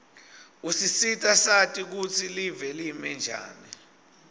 usisita sati kutsi live limenjani